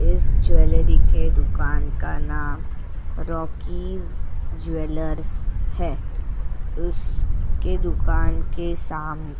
इस ज्वेलरी के दुकान का नाम रॉकीज ज्वेलर्स है उसके दुकान के साम --